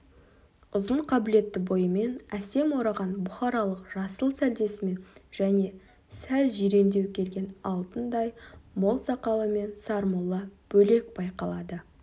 ұзын қабілетті бойымен әсем ораған бұхаралық жасыл сәлдесімен және сәл жирендеу келген алтындай мол сақалымен сармолла бөлек байқалады